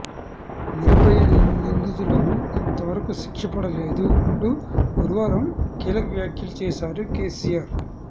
నిర్భయ నిందితులకు ఇంతవరకు శిక్ష పడలేదు అంటూ గురువారం కీలక వ్యాఖ్యలు చేశారు కేసీఆర్